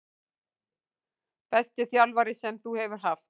Besti þjálfari sem þú hefur haft?